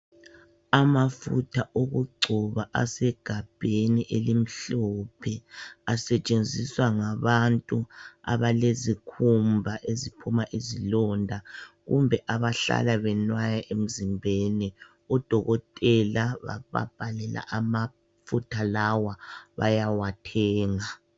Amafutha okugcoba asegabheni elimhlophe. Asetshenziswa ngabantu abalezikhumba eziphuma izilonda kumbe abahlala benwaya emzimbeni. Udokotela bababhalela amafutha lawa, bayawathenga.